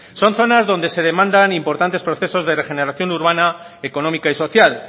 son zonas donde se demandan importantes procesos de regeneración urbana económica y social